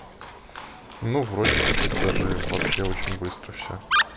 ну вроде теперь даже вообще очень быстро всё